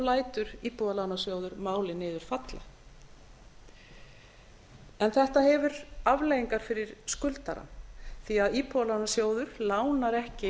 lætur íbúðalánasjóður málið niður falla en þetta hefur afleiðingar fyrir skuldarann því að íbúðalánasjóður lánar ekki